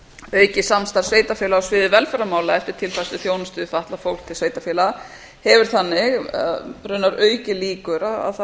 aukið samstarf sveitarfélaga á sviði velferðarmála eftir tilfærslu þjónustu við fatlað fólk til sveitarfélaga hefur þannig raunar aukið líkur á að það